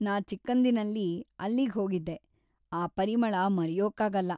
ನಾನ್‌ ಚಿಕ್ಕಂದಿನಲ್ಲಿ ಅಲ್ಲಿಗ್ಹೋಗಿದ್ದೆ, ಆ ಪರಿಮಳ ಮರೆಯೋಕ್ಕಾಗಲ್ಲ.